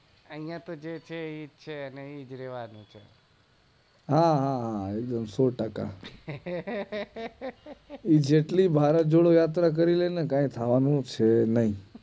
આઇયા તો જે છે એ જ છે ને ઈ જ રેવાનું છે હા હા હા સોટાકા એ જેટલી ભારત ની યાત્રા કરી લેશે કઈ થવાનું છે નાઈ